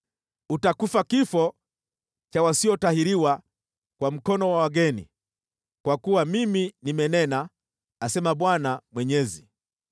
Utakufa kifo cha wasiotahiriwa kwa mkono wa wageni. Kwa kuwa mimi nimenena, asema Bwana Mwenyezi.’ ”